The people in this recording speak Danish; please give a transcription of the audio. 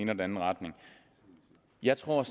den anden retning jeg tror